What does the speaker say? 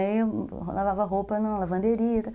Aí eu lavava roupa na lavanderia e tal.